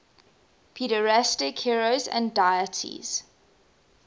pederastic heroes and deities